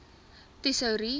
tesourie